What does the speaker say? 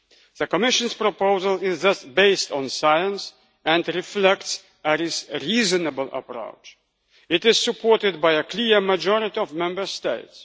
The Commission's proposal is thus based on science and reflects a reasonable approach. It is supported by a clear majority of Member States.